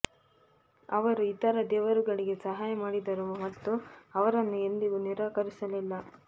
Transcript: ಅವರು ಇತರ ದೇವರುಗಳಿಗೆ ಸಹಾಯ ಮಾಡಿದರು ಮತ್ತು ಅವರನ್ನು ಎಂದಿಗೂ ನಿರಾಕರಿಸಲಿಲ್ಲ